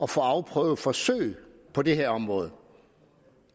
få afprøvet forsøg på det her område